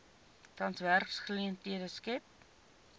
tans werksgeleenthede skep